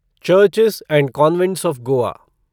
churches and convents of Goa